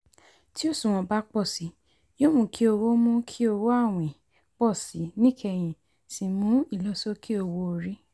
tí òṣùwọ̀n bá pọ si yóò mú kí owó mú kí owó àwìn pọ si níkẹyìn sì mú ìlọ̀sókè owó-orí.